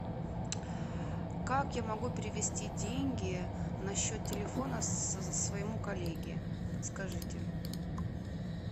как я могу перевести деньги на счет телефона своему коллеге подскажите